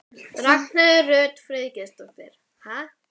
Ragnheiður Rut Friðgeirsdóttir: Ha?